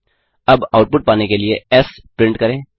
अब आउटपुट पाने के लिए एस प्रिंट करें